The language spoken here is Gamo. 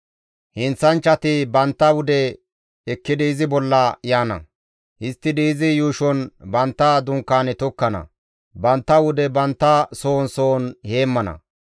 Heenththanchchati bantta wude ekkidi izi bolla yaana; histtidi izi yuushon bantta dunkaane tokkana; bantta wude bantta sohon sohon heemmana.